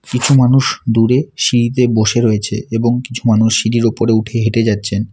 কিছু মানুষ দূরে সিঁড়িতে বসে রয়েছে এবং কিছু মানুষ সিঁড়ির উপরে উঠে হেঁটে যাচ্ছেন।